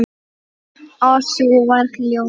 Og sú var ljót!